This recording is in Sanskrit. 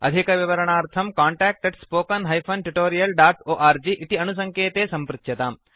अधिकविवरणार्थं कान्टैक्ट् spoken tutorialorg इति अणुसङ्केते सम्पृच्यताम्